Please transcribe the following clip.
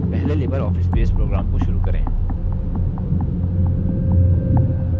पहले libreoffice base program को शुरू करें